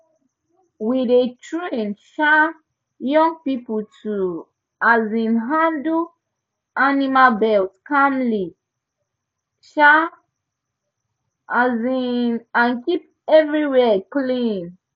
we dey train um young people to um handle animal birth calmly um um and keep everywhere clean